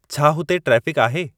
छा हुते ट्रेफ़िक आहे